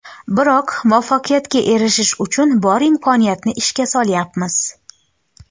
Biroq muvaffaqiyatga erishish uchun bor imkoniyatni ishga solyapmiz.